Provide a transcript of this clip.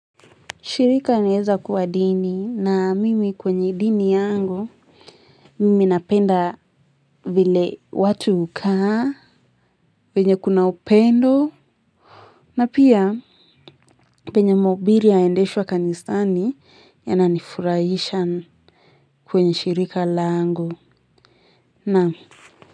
Shirika naeza kuwa dini na mimi kwenye dini yangu. Mimi napenda vile watu hukaa. Penye kuna upendo. Na pia penye mahubiri ya endeshwa kanisani ya na nifurahishan kwenye shirika langu. Naam.